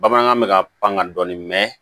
Bamanankan bɛ ka pan ka dɔɔnin mɛ